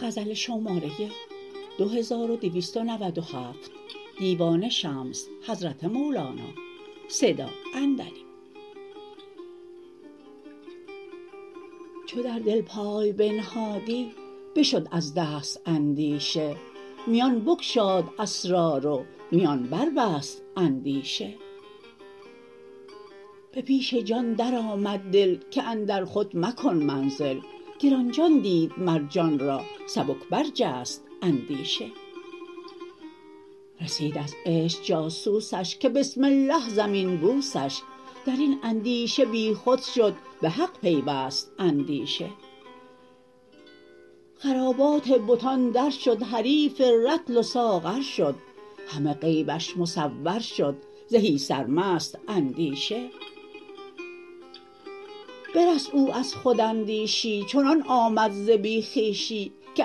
چو در دل پای بنهادی بشد از دست اندیشه میان بگشاد اسرار و میان بربست اندیشه به پیش جان درآمد دل که اندر خود مکن منزل گران جان دید مر جان را سبک برجست اندیشه رسید از عشق جاسوسش که بسم الله زمین بوسش در این اندیشه بیخود شد به حق پیوست اندیشه خرابات بتان درشد حریف رطل و ساغر شد همه غیبش مصور شد زهی سرمست اندیشه برست او از خوداندیشی چنان آمد ز بی خویشی که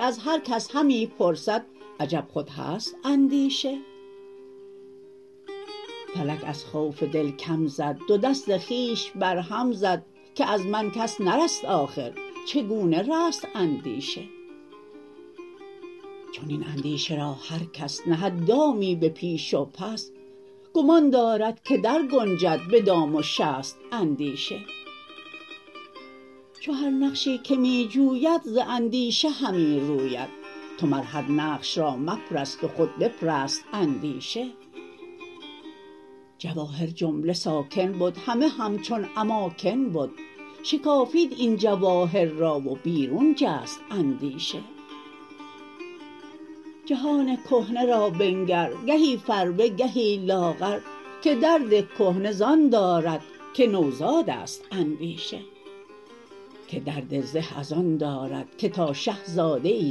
از هر کس همی پرسد عجب خود هست اندیشه فلک از خوف دل کم زد دو دست خویش بر هم زد که از من کس نرست آخر چگونه رست اندیشه چنین اندیشه را هر کس نهد دامی به پیش و پس گمان دارد که درگنجد به دام و شست اندیشه چو هر نقشی که می جوید ز اندیشه همی روید تو مر هر نقش را مپرست و خود بپرست اندیشه جواهر جمله ساکن بد همه همچون اماکن بد شکافید این جواهر را و بیرون جست اندیشه جهان کهنه را بنگر گهی فربه گهی لاغر که درد کهنه زان دارد که نوزاد است اندیشه که درد زه ازان دارد که تا شه زاده ای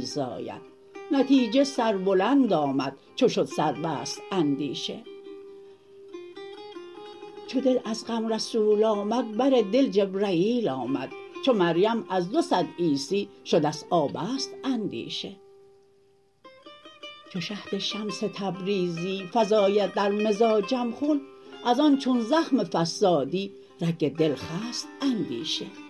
زاید نتیجه سربلند آمد چو شد سربست اندیشه چو دل از غم رسول آمد بر دل جبرییل آمد چو مریم از دو صد عیسی شده ست آبست اندیشه چو شهد شمس تبریزی فزاید در مزاجم خون از آن چون زخم فصادی رگ دل خست اندیشه